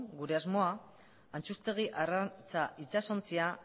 gure asmoa antxustegi arrantza itsasontzia